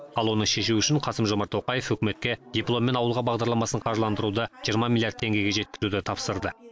ал оны шешу үшін қасым жомарт тоқаев үкіметке дипломмен ауылға бағдарламасын қаржыландыруды жиырма миллиард теңгеге жеткізуді тапсырды